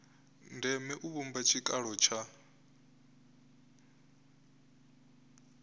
ndeme u vhumba tshikalo tsha